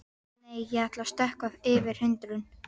Nei, ég ætla að stökkva yfir hindrun.